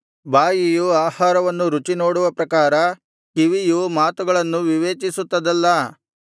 ಬಾಯಿಯು ಆಹಾರವನ್ನು ರುಚಿ ನೋಡುವ ಪ್ರಕಾರ ಕಿವಿಯು ಮಾತುಗಳನ್ನು ವಿವೇಚಿಸುತ್ತದಲ್ಲಾ